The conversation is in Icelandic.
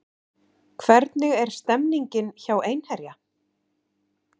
Hvernig er stemningin hjá Einherja?